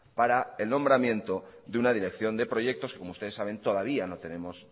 para el nombramiento de una dirección de proyectos como ustedes saben todavía no tenemos